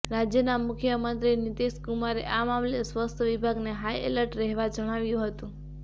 રાજ્યના મુખ્યમંત્રી નીતીશ કુમારે આ મામલે સ્વાસ્થ વિભાગને હાઇ એલર્ટ રહેવા જણાવ્યું હતું